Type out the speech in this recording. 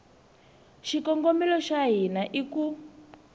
xikongomelo xa hina i ku